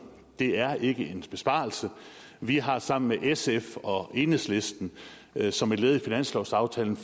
det er ikke en besparelse vi har sammen med sf og enhedslisten som et led i finanslovsaftalen